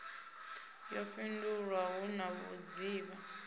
yo fhindulwa hu na vhudzivha